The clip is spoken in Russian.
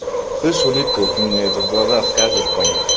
слышь улитка вот ты меня это в глаза скажешь понял